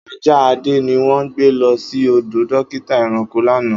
Aja Ade ni won gbe lo si odo dokita eranko lana.